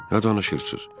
Nə danışırsız?